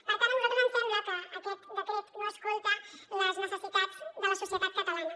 per tant a nosaltres ens sembla que aquest decret no escolta les necessitats de la societat catalana